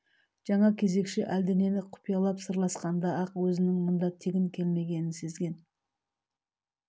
жаңа кезекші әлденен құпиялап сырласқанда-ақ өзінің мұнда тегін келмегенін сезген